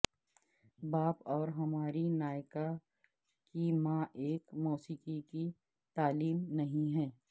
باپ اور ہماری نایکا کی ماں ایک موسیقی کی تعلیم نہیں ہے